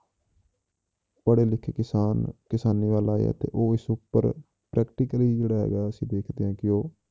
ਪੜ੍ਹੇ ਲਿਖੇ ਕਿਸਾਨ ਕਿਸਾਨੀ ਵੱਲ ਆਏ ਆ ਤੇ ਉਹ ਇਸ ਉੱਪਰ practically ਜਿਹੜਾ ਹੈਗਾ ਉਹ ਅਸੀਂ ਦੇਖਦੇ ਹਾਂ ਕਿ ਉਹ